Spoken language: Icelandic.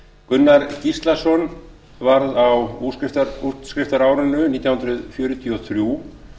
gunnar gíslason varð á útskriftarárinu nítján hundruð fjörutíu og þrjú